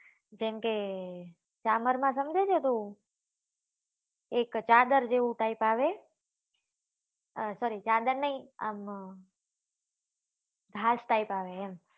જેમ કે ચામર માં સમજે છે તું એક ચાદર જેવું type આવે આ sorry ચાદર નહિ આમ હાસ type આવે એમ